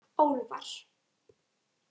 Álfar